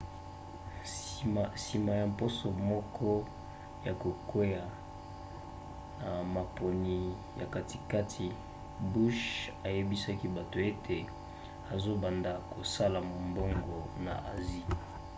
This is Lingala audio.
nsima ya mposo moko ya kokweya na maponi ya katikati bush ayebisaki bato ete azobanda kosala mombongo na asie